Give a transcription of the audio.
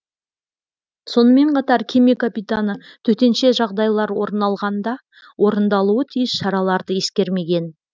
сонымен қатар кеме капитаны төтенше жағдайлар орын алғанда орындалуы тиіс шараларды ескермеген